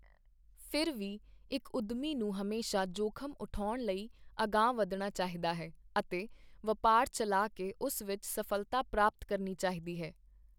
ਫਿਰ ਵੀ ਇੱਕ ਉਦਮੀ ਨੂੰ ਹਮੇਸ਼ਾ ਜੋਖਮ ਉਠਾਉਣ ਲਈ ਅਗਾਂਹ ਵੱਧਣਾ ਚਾਹੀਦਾ ਹੈ ਅਤੇ ਵਪਾਰ ਚਲਾ ਕੇ ਉਸ ਵਿੱਚ ਸਫਲਤਾ ਪ੍ਰਪਾਤ ਕਰਨੀ ਚਾਹੀਦੀ ਹੈ।